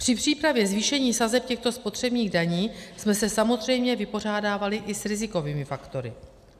Při přípravě zvýšení sazeb těchto spotřebních daní jsme se samozřejmě vypořádávali i s rizikovými faktory.